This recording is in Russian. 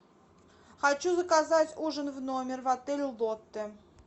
хочу заказать ужин в номер в отель лотте